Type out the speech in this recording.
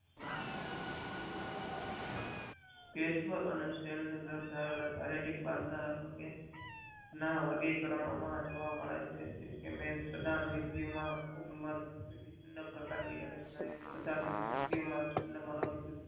cache પાર અને સેલ પાર દાર્શવેલા કર્યો ના બધા અંગે ના વર્ગી કારણો ના જોવા મળે છે બધા વક્તિઓ માં ઉમડ વિવિધ પર્કાર ની શ્વાયુ ચિનમનોયુક્તિ